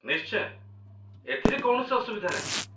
ନିଶ୍ଚୟ ! ଏଥିରେ କୌଣସି ଅସୁବିଧା ନାହିଁ